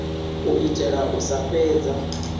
u itela u sa fhedza